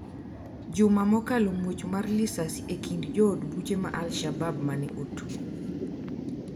Juma mokalo muoch mar lisasi e kind jood buche ma Alshabab mane otwe